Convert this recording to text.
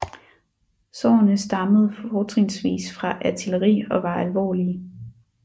Sårene stammede fortrinsvis fra artilleri og var alvorlige